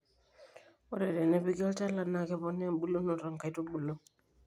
ore tenepiki olchala naa keponaa ebulunoto o nkaitubulu